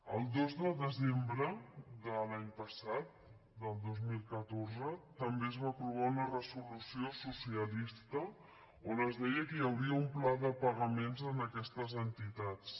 el dos de desembre de l’any passat del dos mil catorze també es va aprovar una resolució socialista on es deia que hi hauria un pla de pagaments a aquestes entitats